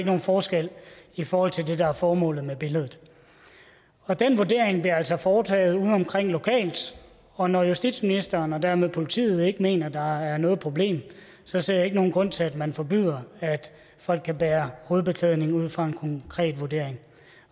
nogen forskel i forhold til det der er formålet med billedet og den vurdering bliver altså foretaget udeomkring lokalt og når justitsministeren og dermed politiet ikke mener der er noget problem så ser jeg ikke nogen grund til at man forbyder at folk kan bære hovedbeklædning ud fra en konkret vurdering